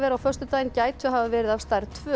á föstudaginn gætu hafa verið af stærð tvö